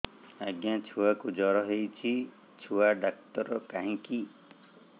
ଆଜ୍ଞା ଛୁଆକୁ ଜର ହେଇଚି ଛୁଆ ଡାକ୍ତର କାହିଁ କି